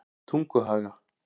Tunguhaga